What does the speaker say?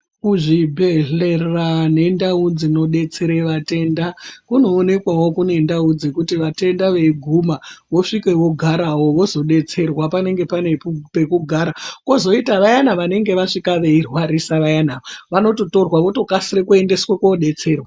Kuzvibhedhlera nendau dzinobetsere vatenda kunoonekwavo kune ndau dzekuti vatenda veiguma vosvike vogaravo vozobetserwa. Panenge pane pekugara kozoita vayana vanenge vasvika veirwarisa vayana vanototorwa votokasira kuendeswe kobetserwa.